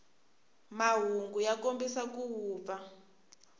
mahungu ya kombisa ku vupfa